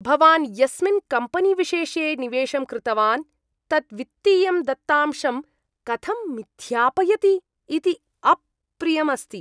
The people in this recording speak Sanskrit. भवान् यस्मिन् कम्पेनीविशेषे निवेशं कृतवान्, तत् वित्तीयं दत्तांशं कथं मिथ्यापयति इति अप्रियम् अस्ति।